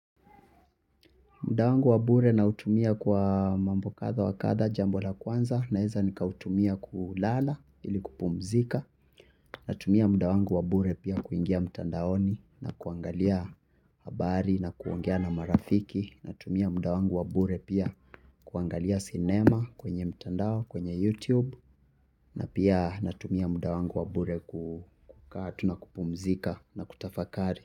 Muda wangu wa bure nautumia kwa mambo kadha wa kadha jambo la kwanza naweza nikautumia kulala ili kupumzika. Natumia muda wangu wa bure pia kuingia mtandaoni na kuangalia habari na kuongea na marafiki. Natumia muda wangu wa bure pia kuangalia sinema kwenye mtandao kwenye YouTube. Na pia natumia muda wangu wa bure kukaa tu na kupumzika na kutafakari.